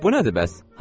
İndi bu nədir bəs?